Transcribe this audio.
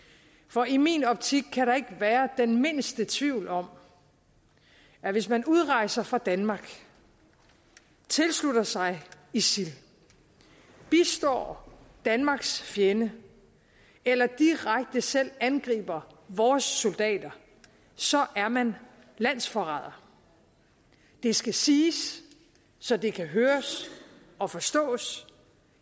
for i min optik kan der ikke være den mindste tvivl om at hvis man udrejser fra danmark tilslutter sig isil bistår danmarks fjende eller direkte selv angriber vores soldater så er man landsforræder det skal siges så det kan høres og forstås